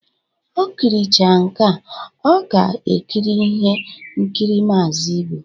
O kiricha nkea, ọ ga-ekiri ihe nkiri Maazi Ibu